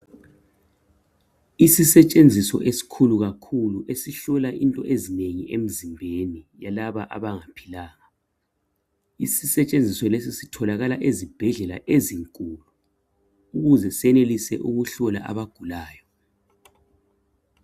Isisetshenziso esikhulu kakhulu esihlola into ezinengi emzimbeni yalaba abangaphilanga isisetshenziso lesi sitholakala ezibhedlela ezinkulu ukuze senelise ukuhlola abagulayo